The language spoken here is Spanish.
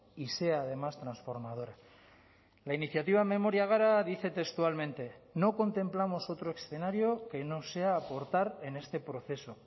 y sea además transformadora la iniciativa memoria gara dice textualmente no contemplamos otro escenario que no sea aportar en este proceso